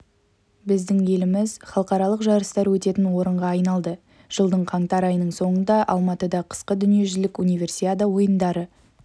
біздің еліміз халықаралық жарыстар өтетін орынға айналды жылдың қаңтар айының соңында алматыда қысқы дүниежүзілік универсиада ойындары